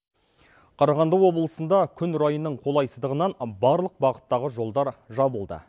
қарағанды облысында күн райының қолайсыздығынан барлық бағыттағы жолдар жабылды